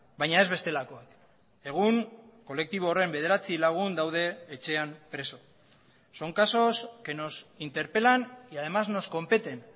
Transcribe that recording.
baina ez bestelakoak egun kolektibo horren bederatzi lagun daude etxean preso son casos que nos interpelan y además nos competen